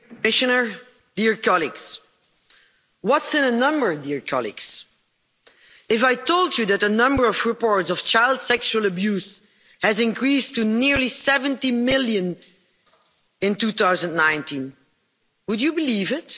Mr President, what's in a number, dear colleagues? If I told you that the number of reports of child sexual abuse has increased to nearly 70 million in 2019, would you believe it?